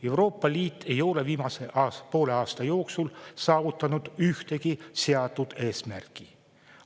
Euroopa Liit ei ole viimase poole aasta jooksul saavutanud ühtegi seatud eesmärki.